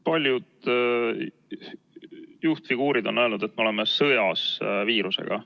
Paljud juhtfiguurid on öelnud, et me oleme sõjas viirusega.